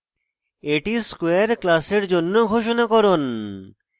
এটি square class জন্য ঘোষণাকরণ